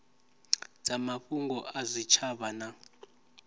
dza mafhungo a zwitshavha na